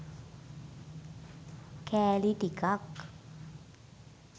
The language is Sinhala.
කෑලි ටිකක්